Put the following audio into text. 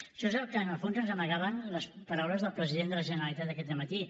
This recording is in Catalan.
això és el que en el fons ens amagaven les paraules del president de la generalitat aquest dematí